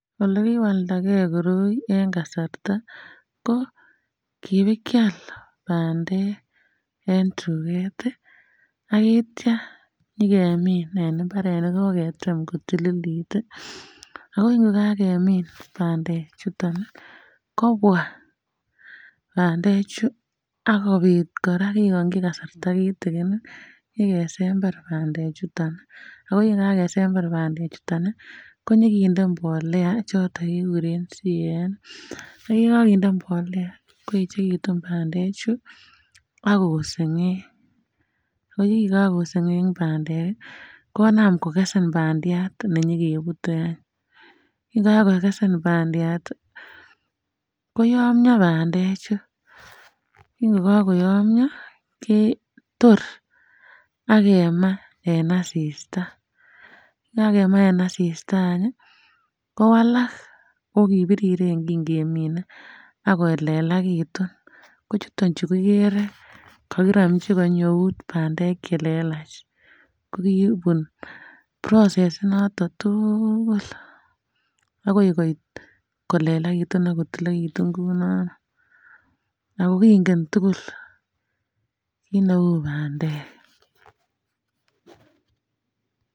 Ole kiwalda gee koroi en kasarta ko kibakial pandek en tuget tii ak itya nyokemin en imbaret nekoketem kotililit tii ako nekakemi pandek chuton nii kobwa pandek chuu akopit koraa kekongi kasarta kitikin konyo kesember pandek chuton ako yekakesember pendek chuton nii konyo kinde mbolea choton kikuren CAN ak yekokinde mbolea koyechekitun pandek chuu ak kosengeng yekin kakosengeng pandek kii konam akokesen pandiat nenyokebute any. Yekakokesen pandiat tii koyomyo pandek chuu ak yeko koyomyo ketor akemaa en asista, yekakema en asista anyi kowala okipiriren kin kemine ak kolelakitun ko chuton chuu kikere kokikorimchi konyi eut pandek chelelach ko kobun process initon tuukul akoi koit kolelakitun ak kotililekitun kou noni ako kingen tukul kit neu pandek.